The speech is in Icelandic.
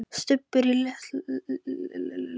Stubbur lítur um öxl og glottir.